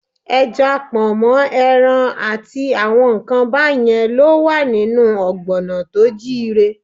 Ẹja, pọ̀nmọ́, ẹran àti àwọn nǹkan báyẹn ló ń wà nínú ọ̀gbọ̀nà tó jíire.